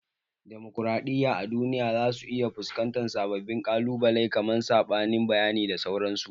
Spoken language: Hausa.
Demokraɗiyya a duniya za su iya fusƙantar sabbin ƙalubalai kaman saɓanin bayani da sauransu